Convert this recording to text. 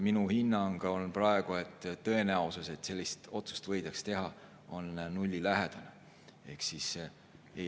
Minu hinnang on praegu, et tõenäosus, et sellist otsust võidakse teha, on nullilähedane.